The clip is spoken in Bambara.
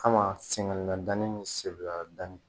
Kama sɛgɛn na danni ni segula danni